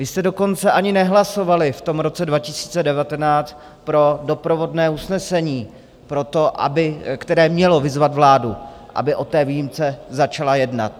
Vy jste dokonce ani nehlasovali v tom roce 2019 pro doprovodné usnesení, které mělo vyzvat vládu, aby o té výjimce začala jednat.